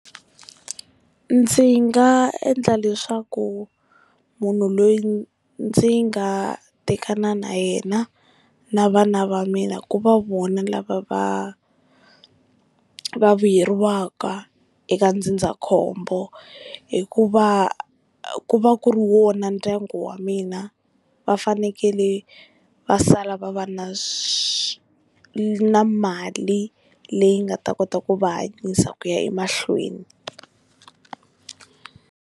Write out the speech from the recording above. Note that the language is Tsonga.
Ndzi nga endla leswaku munhu loyi ndzi nga tekana na yena na vana va mina ku va vona lava va va vuyeriwaka eka ndzindzakhombo hikuva ku va ku ri wona ndyangu wa mina va fanekele va sala va va na swi na mali leyi nga ta kota ku va hanyisa ku ya emahlweni.